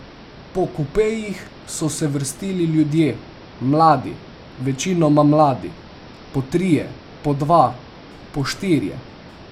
Po kupejih so se vrstili ljudje, mladi, večinoma mladi, po trije, po dva, po štirje.